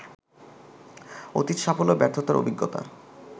অতীত সাফল্য ব্যর্থতার অভিজ্ঞতা